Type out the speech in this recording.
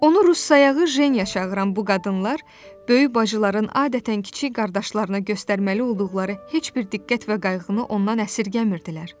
Onu rus sayağı Jenya çağıran bu qadınlar böyük bacıların adətən kiçik qardaşlarına göstərməli olduqları heç bir diqqət və qayğını ondan əsirgəmirdilər.